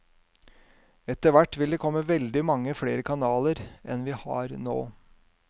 Etter hvert vil det komme veldig mange flere kanaler enn vi har nå.